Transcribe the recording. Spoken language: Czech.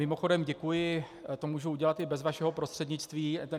Mimochodem, děkuji, to můžu udělat i bez vašeho prostřednictví...